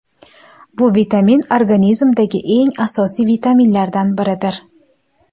Bu vitamin organizmdagi eng asosiy vitaminlardan biridir.